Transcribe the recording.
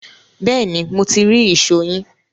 Bẹ́ẹ̀ ni, mo ti rí ìṣó yín